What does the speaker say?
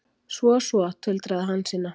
Svo, svo, tuldraði Hansína.